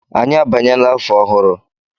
Anyị abanyela afọ ọhụrụ.